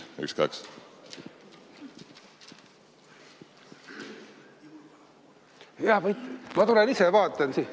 Ma tulen ise vaatan siit.